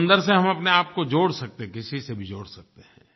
समंदर से हम अपनेआप को जोड़ सकते हैं किसी से भी जोड़ सकते हैं